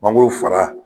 Mangoro fara